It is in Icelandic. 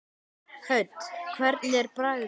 Hödd: Hvernig er bragðið?